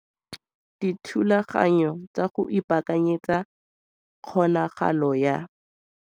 DITHULAGANYO TSA GO IPAAKANYETSA KGONAGALO YA.